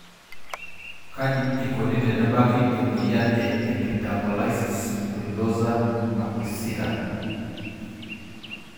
Kaji eikoni tenebaki emoyian e epidermolysis bullosa acquisita?